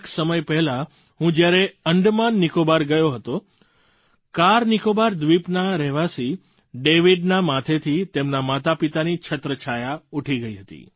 કેટલાક સમય પહેલાં હું જ્યારે અંડમાનનિકોબાર ગયો હતો કારનિકોબાર દ્વીપના રહેવાસી ડેવિડનાં માથેથી તેમનાં માતાપિતાની છત્રછાયા ઊઠી ગઈ હતી